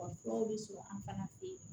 Wa furaw bɛ sɔrɔ an fana fɛ yen